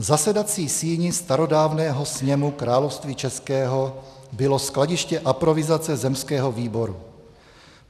"V zasedací síni starodávného Sněmu Království českého bylo skladiště aprovizace Zemského výboru.